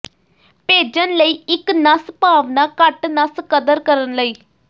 ਭੇਜਣ ਲਈ ਇੱਕ ਨਸ ਭਾਵਨਾ ਘੱਟ ਨਸ ਕਦਰ ਕਰਨ ਲਈ